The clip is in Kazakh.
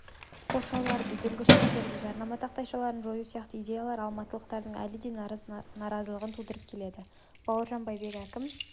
қоршауларды дүңгіршектерді жарнама тақтайшаларын жою сияқты идеялар алматылықтардың әлі де наразылығын тудырып келеді бауыржан байбек әкім